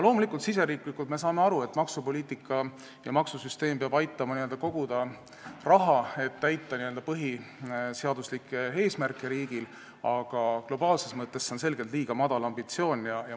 Loomulikult, riigisiseselt me saame aru, et maksupoliitika ja maksusüsteem peavad aitama n-ö koguda raha, et täita riigi põhiseaduslikke eesmärke, aga globaalses mõttes on see selgelt liiga madal ambitsioon.